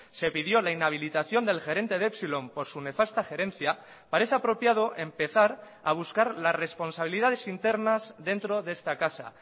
se pidió la inhabilitación del gerente de epsilon por su nefasta gerencia parece apropiado empezar a buscar las responsabilidades internas dentro de esta casa